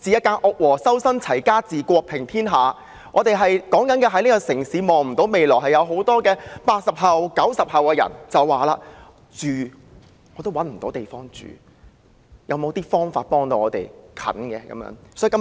正所謂"修身、齊家、治國、平天下"，我們常說這個城市的人看不到未來，正是因為很多 "80 後"、"90 後"世代找不到地方住，希望政府可以想法子盡快幫助他們。